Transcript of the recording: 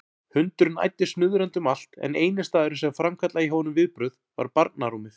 Hundurinn æddi snuðrandi um allt en eini staðurinn sem framkallaði hjá honum viðbrögð var barnarúmið.